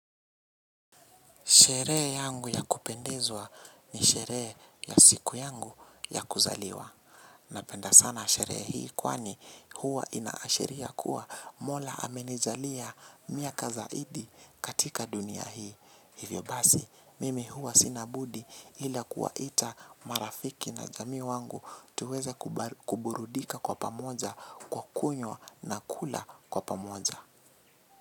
Sherehe yangu ya kupendezwa ni sherehe ya siku yangu ya kuzaliwa. Napenda sana sherehe hii kwani huwa inaashiria kuwa Mola amenijalia miaka zaidi katika dunia hii. Hivyo basi, mimi huwa sina budi ila kuwaita marafiki na jamii wangu tuweze kuburudika kwa pamoja kwa kunywa na kula kwa pamoja.